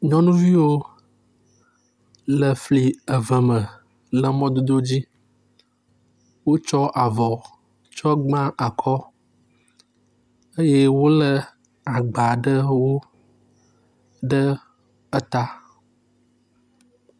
nyɔnuviwo le fli eve me le mɔdodo dzi wotsɔ avɔ tsɔ gbã akɔ eye wóle agbaɖewo ɖe eta